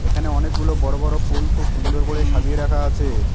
এখানে অনেকগুলো বড়ো বড়ো ফুল খুব সুন্দর করে সাজিয়ে রাখা আছে।